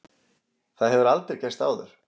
Það hefur aldrei gerst áður.